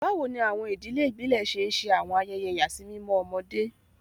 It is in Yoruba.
Báwo ni àwọn ìdílé ìbílẹ̀ ṣe ń ṣe àwọn ayẹyẹ ìyàsímímọ́ ọmọdé?